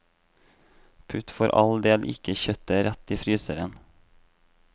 Putt for all del ikke kjøttet rett i fryseren.